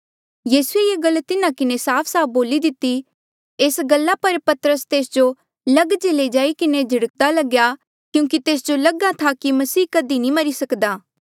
यीसूए ये गल तिन्हा किन्हें साफसाफ बोली दिती एस गल्ला पर पतरस तेस जो लग जे लई जाई किन्हें झिड़क्दा लग्या क्यूंकि तेस जो लग्हा था कि मसीह कधी मरी नी सक्दा